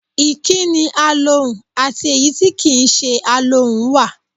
Ìkí́ni alohùn àti èyí tí kì í se alohùn wà.